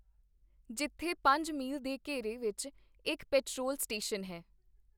ਜਿੱਥੇ ਪੰਜ ਮੀਲ ਦੇ ਘੇਰੇ ਵਿੱਚ ਇੱਕ ਪੇਟਰੋਲ ਸਟੇਸ਼ਨ ਹੈ